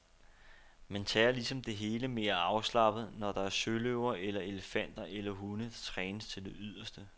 Man tager ligesom det hele mere afslappet, når det er søløver eller elefanter eller hunde, der trænes til det yderste.